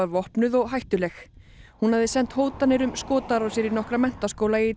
vopnuð og hættuleg hún hafði sent hótanir um skotárásir í nokkra menntaskóla í